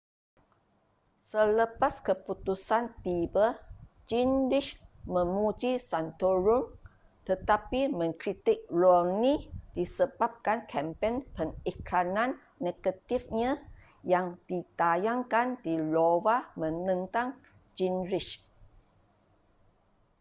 selepas keputusan tiba gingrich memuji santorum tetapi mengkritik romney disebabkan kempen pengiklanan negatifnya yang ditayangkan di iowa menentang gingrich